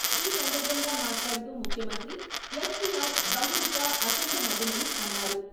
ఈ సందర్భంగా మాట్లాడుతూ ముఖ్యమంత్రి ఎస్ వి ఆర్ బహుముఖ, అఖండ నటులని అన్నారు.